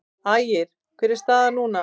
Ægir: Hver er staðan núna?